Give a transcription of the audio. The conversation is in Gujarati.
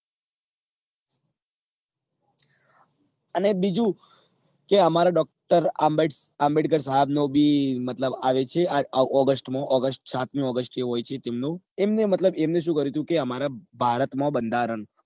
અને બીજું કે અમારા doctor આંબેડકર સાહેબ નો બી મતલબ આવે છે આ august માં august સાતમી august એ હોય છે તેમનું તેમને મતલબ એમને શું કર્યું હતું કે અમારા ભારત માં બંધારણ